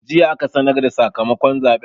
Jiya aka sanar da sakamakon zaɓen.